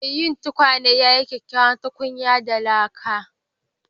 Mai yin tukwane ya yi kyakkyawar tukunya da laka.